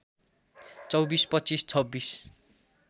२४ २५ २६